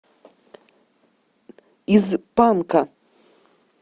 из панка